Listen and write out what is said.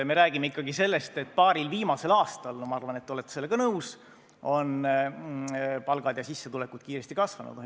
Me räägime ikkagi sellest, et paaril viimasel aastal – ma arvan, et te olete sellega nõus – on palgad ja sissetulekud kiiresti kasvanud.